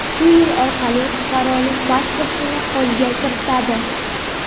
shu yo‘l orqali fuqarolik pasportini qo‘lga kiritadi.